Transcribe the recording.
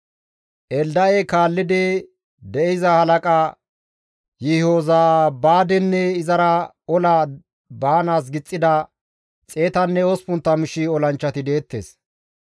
Elda7e kaallidi de7iza halaqa Yihozabaadenne izara ola baanaas gixettida 180,000 olanchchati deettes.